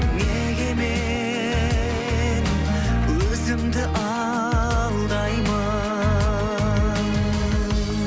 неге мен өзімді алдаймын